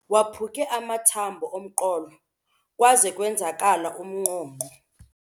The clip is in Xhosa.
Waphuke amathambo omqolo kwaze kwenzakala umnqonqo.